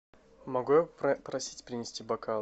могу я попросить принести бокалы